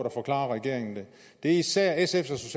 at forklare regeringen det det er især sfs